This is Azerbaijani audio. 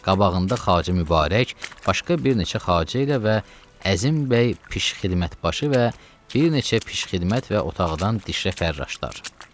Qabağında Xacə Mübarək, başqa bir neçə Xacə ilə və Əzim bəy pişxidmət başı və bir neçə pişxidmət və otaqdan dişrə fərraşdılar.